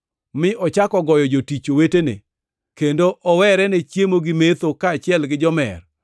mi ochako goyo jotich wetene, kendo owere ne chiemo gi metho kaachiel gi jomer,